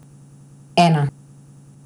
Ena!